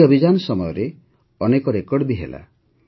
ଏହି ଅଭିଯାନ ସମୟରେ ଅନେକ ରେକର୍ଡ ବି ହେଲା